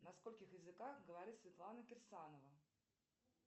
на скольких языках говорит светлана кирсанова